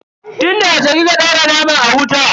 Tun da yaushe kika daura naman a wuta?